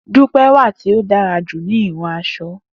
Dupe wà ti o dara ju ni hihun asọ.